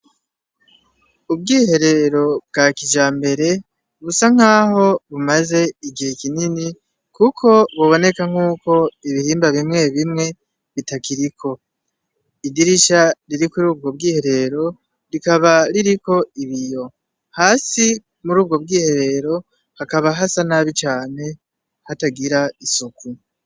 Ubwiherero bwa kija mbere busa nk'aho bumaze igihe kinini, kuko buboneka nk'uko ibirimba bimwe bimwe bitakiriko idirisha riri kuri ubwo bwiherero rikaba ririko ibiyo hasi muri ubwo bw'iherero hakaba hasa nabi cane hatagira isuku.